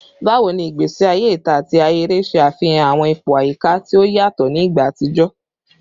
Bawo ni igbesi aye ita ati ahere ṣe afihan awọn ipo ayika ti o yatọ ni igba atijọ?